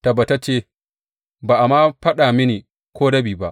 Tabbatacce, ba a ma faɗa mini ko rabi ba.